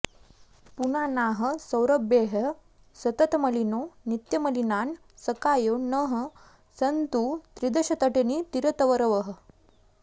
पुनानाः सौरभ्यैः सततमलिनो नित्यमलिनान् सखायो नः सन्तु त्रिदशतटिनीतीरतरवः